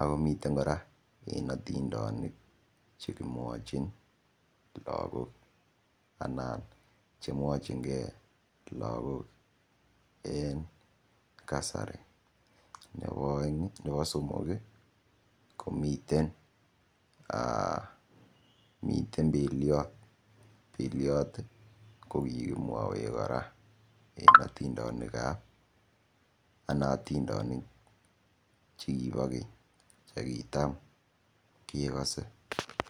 akomiten kora eng otindonik chekimwochin lakok anan chemwochinge lakok en kasari nebo somok komiten Beloit, Beliot kokikimwowech kora en otindonik ana otindonik chekibo keny chekitam kekose.